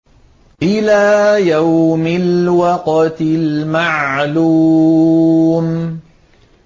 إِلَىٰ يَوْمِ الْوَقْتِ الْمَعْلُومِ